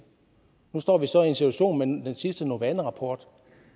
nu står vi så i en situation med den sidste novana rapport